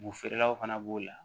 Bo feerelaw fana b'o la